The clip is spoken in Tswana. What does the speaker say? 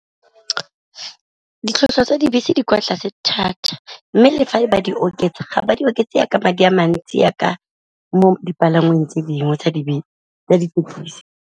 Ditlhwatlhwa tsa dibese di kwa tlase thata, mme le fa ba di oketsa ga ba di oketsa jaaka madi a mantsi jaaka mo dipalangweng tse dingwe tsa dithekesi.